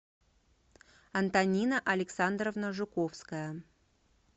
антонина александровна жуковская